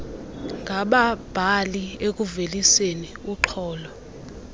ngababhali ekuveliseni urnxholo